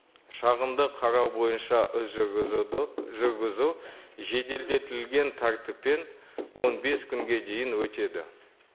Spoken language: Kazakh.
шағымды қарау бойынша жүргізуді жүргізу жеделдетілген тәртіппен он бес күнге дейін өтеді